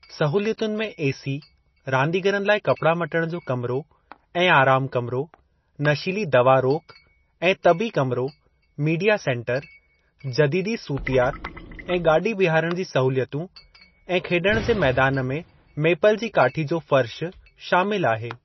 सहूलियतनि में एसी, रांदीगरनि लाइ कपड़ा मटणु जो कमरो ऐं आराम कमरो, नशीली दवा रोकु ऐं तबी कमरो, मीडिया सेंटर, जदीदी सूतियाति ऐं गाॾी बीहारणु जी सहूलियतूं ऐं खेड॒णु जे मैदान में मेपल जी काठी जो फ़र्श शामिलु आहे।